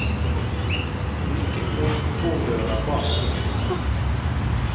Hun nikket mot kontordøra bak ryggen hans.